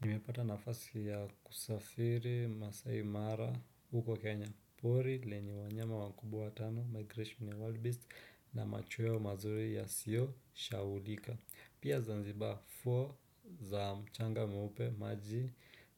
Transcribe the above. Nimepata nafasi ya kusafiri Maasai Mara huko Kenya, pori lenye wanyama wakubwa watano, Migration ya Wild Beast na machweo mazuri yasiyosahaulika. Pia zanziba, ufuo za mchanga mweupe, maji